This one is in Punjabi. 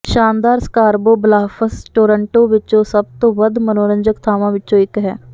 ਸ਼ਾਨਦਾਰ ਸਕਾਰਬਰੋ ਬਲਾੱਫਸ ਟੋਰੰਟੋ ਵਿਚ ਸਭ ਤੋਂ ਵੱਧ ਮਨੋਰੰਜਕ ਥਾਵਾਂ ਵਿੱਚੋਂ ਇੱਕ ਹੈ